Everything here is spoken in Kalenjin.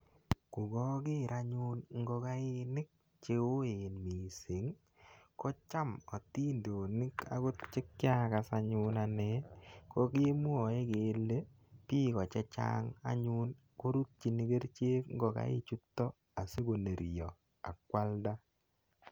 Ko kaker anyun ngokainik che oen missing' i, ko cham atindonik akot che kiakas anyun ane ko kemwae kele piko che chang' anyun korutchin kerichek ngolaichutok asikonerya ak koalda.